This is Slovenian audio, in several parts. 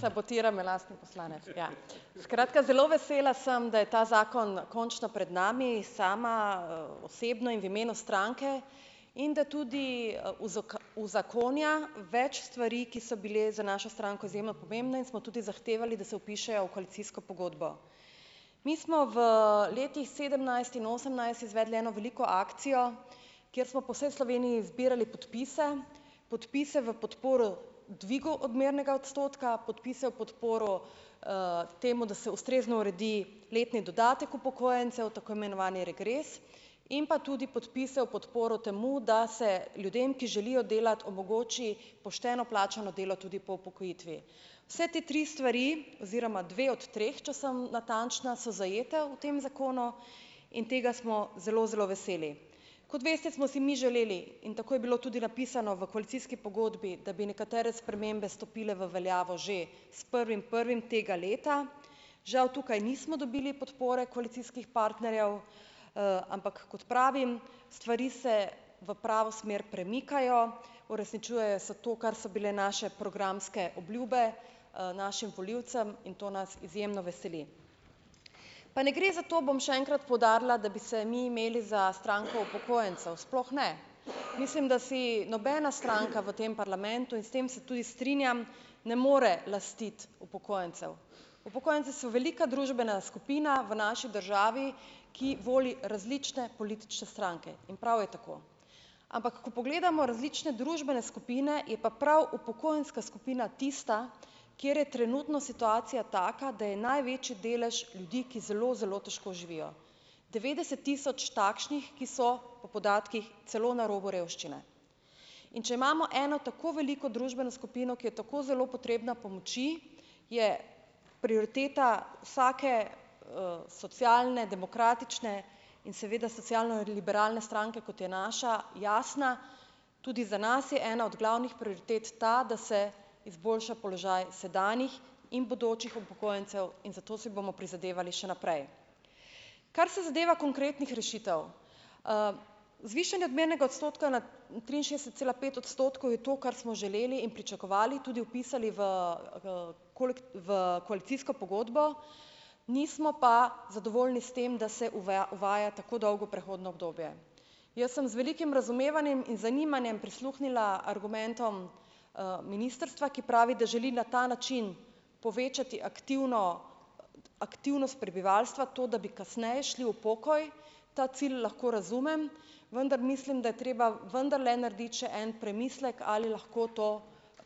Sabotira me lastni poslanec, ja, skratka, zelo vesela sem, da je ta zakon končno pred nami, sama osebno in v imenu stranke, in da tudi uzakonja več stvari, ki so bile za našo stranko izjemno pomembne in smo tudi zahtevali, da se vpišejo v koalicijsko pogodbo. Mi smo v letih sedemnajst in osemnajst izvedli eno veliko akcijo, kjer smo po vsej Sloveniji zbirali podpise, podpise v podporo dvigu odmernega odstotka, podpise v podporo, temu, da se ustrezno uredi letni dodatek upokojencev, tako imenovani regres, in pa tudi podpise v podporo temu, da se ljudem, ki želijo delati, omogoči pošteno plačano delo tudi po upokojitvi, se te tri stvari oziroma dve od treh, če sem natančna, so zajete v tem zakonu, in tega smo zelo zelo veseli, kot veste, smo si mi želeli, in tako je bilo tudi napisano v koalicijski pogodbi, da bi nekatere spremembe stopile v veljavo že s prvim prvim tega leta, žal tukaj nismo dobili podpore koalicijskih partnerjev, ampak kot pravim, stvari se v pravo smer premikajo, uresničujejo se to, kar so bile naše programske obljube, našim volilcem in to nas izjemno veseli, pa ne gre za to, bom še enkrat poudarila, da bi se mi imeli za stranko upokojencev, sploh ne, mislim, da si nobena stranka v tem parlamentu, in s tem se tudi strinjam, ne more lastiti upokojencev, upokojenci so velika družbena skupina v naši državi, ki voli različne politične stranke, in prav je tako, ampak ko pogledamo različne družbene skupine, je pa prav upokojenska skupina tista, kjer je trenutno situacija taka, da je največji delež ljudi, ki zelo zelo težko živijo, devetdeset tisoč takšnih, ki so po podatkih celo na robu revščine, in če imamo eno tako veliko družbeno skupino, ki je tako zelo potrebna pomoči, je prioriteta vsake, socialne, demokratične in seveda socialno-liberalne stranke, kot je naša, jasna, tudi za nas je ena od glavnih prioritet ta, da se izboljša položaj sedanjih in bodočih upokojencev, in za to si bomo prizadevali še naprej, kar se zadeva konkretnih rešitev, zvišanje odmernega odstotka na triinšestdeset cela pet odstotkov je to, kar smo želeli in pričakovali, tudi vpisali v v koalicijsko pogodbo, nismo pa zadovoljni s tem, da se uveja, uvaja tako dolgo prehodno obdobje, jaz sem z velikim razumevanjem in zanimanjem prisluhnila argumentom, ministrstva, ki pravi, da želi na ta način povečati aktivno, aktivnost prebivalstva, to, da bi kasneje šli v pokoj, ta cilj lahko razumem, vendar mislim, da je treba vendarle narediti še en premislek, ali lahko to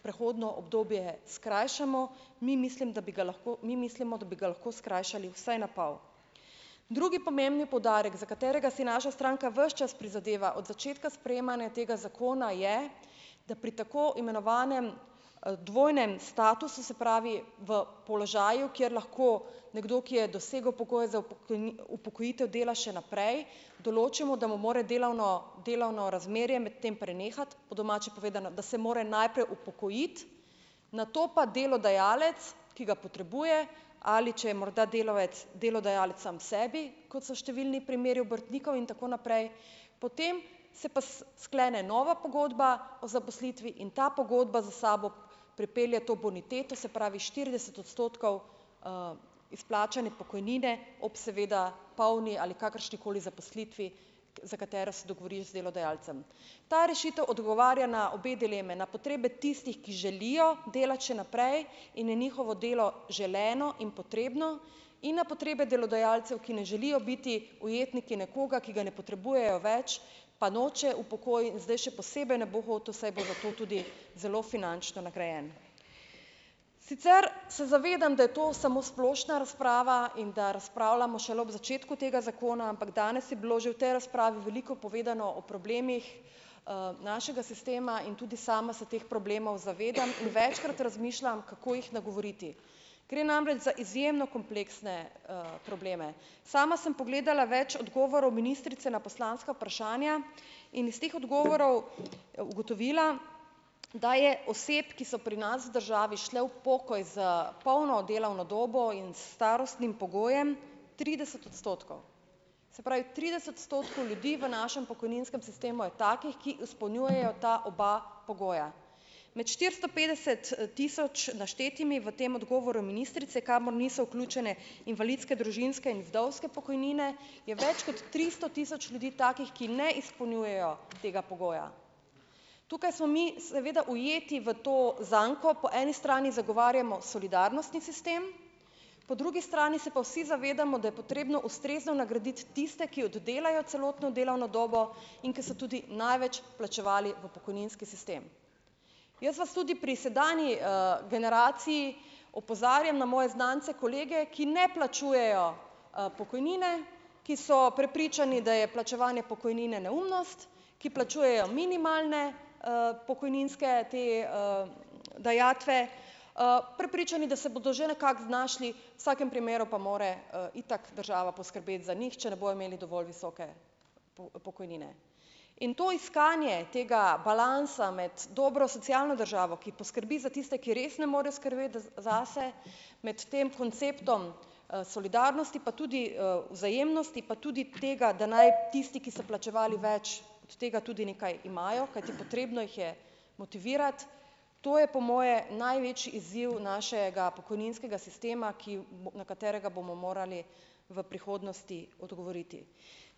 prehodno obdobje skrajšamo, mi mislim, da bi ga lahko, mi mislimo, da bi ga lahko skrajšali vsaj na pol drugi pomembni poudarek, za katerega si naša stranka ves čas prizadeva od začetka sprejemanja tega zakona, je, da pri tako imenovanem dvojnem statusu, se pravi, v položaju, kjer lahko nekdo, ki je dosegel pokoj za upokojitev, dela še naprej, določimo, da mu more delovno delovno razmerje medtem prenehati, po domače povedano, da se mora najprej upokojiti, nato pa delodajalec, ki ga potrebuje, ali če je morda delavec delodajalec sam sebi, kot so številni primeri obrtnikov in tako naprej, potem se pa sklene nova pogodba o zaposlitvi in ta pogodba za sabo pripelje to boniteto, se pravi štirideset odstotkov, izplačane pokojnine ob seveda polni ali kakršnikoli zaposlitvi, za katero se dogovoriš z delodajalcem, ta rešitev odgovarja na obe dilemi, na potrebe tistih, ki želijo delati še naprej in je njihovo delo želeno in potrebno, in na potrebe delodajalcev, ki ne želijo biti ujetniki nekoga, ki ga ne potrebujejo več, pa noče v pokoj, zdaj še posebej ne bo hotel, saj bo za to tudi zelo finančno nagrajen. Sicer se zavedam, da je to samo splošna razprava in da razpravljamo šele ob začetku tega zakona, ampak danes je bilo že v tej razpravi veliko povedano o problemih, našega sistema in tudi sama se teh problemov zavedam in večkrat razmišljam, kako jih nagovoriti, gre namreč za izjemno kompleksne, probleme, sama sem pogledala več odgovorov ministrice na poslanska vprašanja in iz teh odgovorov ugotovila, da je oseb, ki so pri nas v državi šle v pokoj s polno delovno dobo in starostnim pogojem trideset odstotkov, se pravi, trideset odstotkov ljudi v našem pokojninskem sistemu je takih, ki izpolnjujejo ta oba pogoja, med štiristo petdeset tisoč naštetimi v tem odgovoru ministrice, kamor niso vključene invalidske družinske in vdovske pokojnine, je več kot tristo tisoč ljudi takih, ki ne izpolnjujejo tega pogoja, tukaj smo mi seveda ujeti v to zanko, po eni strani zagovarjamo solidarnostni sistem, po drugi strani se pa vsi zavedamo, da je potrebno ustrezno nagraditi tiste, ki oddelajo celotno delovno dobo in ki so tudi največ vplačevali v pokojninski sistem, jaz vas tudi pri sedanji, generaciji opozarjam na moje znance, kolege, ki ne plačujejo, pokojnine, ki so prepričani, da je plačevanje pokojnine neumnost, ki plačujejo minimalne, pokojninske te, dajatve, prepričani, da se bodo že nekako znašli, vsakem primeru pa mora, itak država poskrbeti za njih, če ne bojo imeli dovolj visoke pokojnine, in to iskanje tega balansa med dobro socialno državo, ki poskrbi za tiste, ki res ne morejo skrbeti zase, med tem konceptom, solidarnosti pa tudi, vzajemnosti pa tudi tega, da naj tisti, ki so plačevali več, od tega tudi nekaj imajo, kajti potrebno jih je motivirati, to je po moje največji izziv našega pokojninskega sistema, ki na katerega bomo morali v prihodnosti odgovoriti,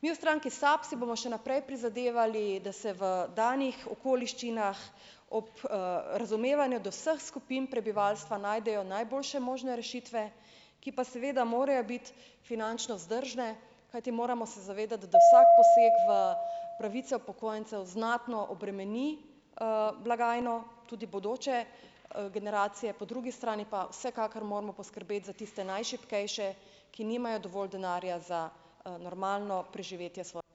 mi v stranki SAB si bomo še naprej prizadevali, da se v danih okoliščinah ob, razumevanju do vseh skupin prebivalstva najdejo najboljše možne rešitve, ki pa seveda morajo biti finančno vzdržne, kajti moramo se zavedati, da vsak poseg v pravice upokojencev znatno obremeni, blagajno, tudi bodoče generacije, po drugi strani pa vsekakor moramo poskrbeti za tiste najšibkejše, ki nimajo dovolj denarja za normalno preživetje.